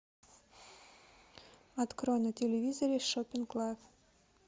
открой на телевизоре шопинг лайф